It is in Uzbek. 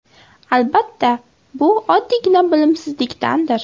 Albatta bu oddiygina bilimsizlikdandir.